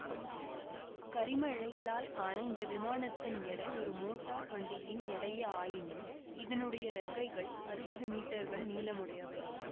கரிம இழைகளால் ஆன இந்த விமானத்தின் எடை ஒரு மோட்டார் வண்டியின் எடையே ஆயினும் இதனுடைய இறக்கைகள் அறுபது மீட்டர்கள் நீளமுடையவை